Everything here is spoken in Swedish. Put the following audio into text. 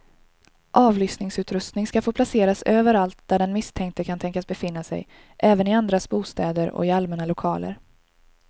Avlyssningsutrustning ska få placeras överallt där den misstänkte kan tänkas befinna sig, även i andras bostäder och i allmänna lokaler.